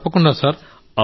తప్పకుండా సార్